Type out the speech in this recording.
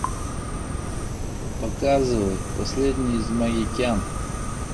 показывай последний из магикян